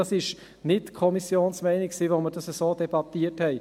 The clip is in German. Dies war nicht die Kommissionsmeinung, als wir es so debattierten.